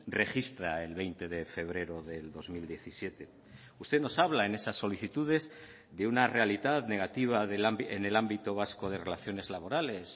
registra el veinte de febrero del dos mil diecisiete usted nos habla en esas solicitudes de una realidad negativa en el ámbito vasco de relaciones laborales